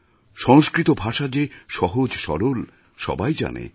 সংস্কৃত ভাষা যে সহজ সরল সবাই জানে